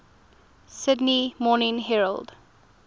sydney morning herald